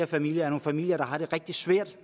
familier er familier der har det rigtig svært